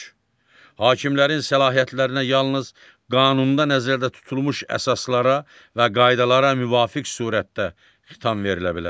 Hakimlərin səlahiyyətlərinə yalnız qanunda nəzərdə tutulmuş əsaslara və qaydalara müvafiq surətdə xitam verilə bilər.